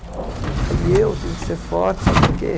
Aí eu tive que ser forte, sabe para quê?